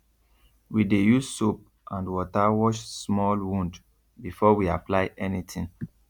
we dey use soap and water wash small wound before we apply anything